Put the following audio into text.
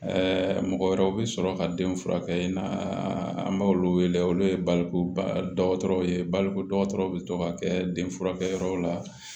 mɔgɔ wɛrɛw bɛ sɔrɔ ka den furakɛ yen nɔ an b'olu wele olu ye baliku dɔgɔtɔrɔw ye balikuw bɛ to ka kɛ denfurakɛyɔrɔw la